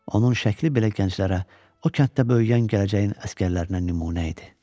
Onun şəkli belə gənclərə, o kənddə böyüyən gələcəyin əsgərlərinə nümunə idi.